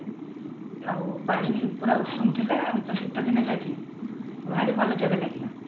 ଆଉ ପାଣି ପୁରା ଉଷୁମ ଥିଲା ଆମେ ତ ଶୀତଦିନେ ଯାଇଥିଲୁ ଭାରି ଭଲ ଜାଗା ଲାଗିଲା